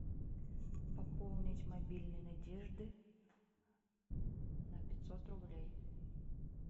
пополнить мобильный надежды на пятьсот рублей